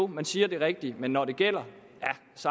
man siger det rigtige men når det gælder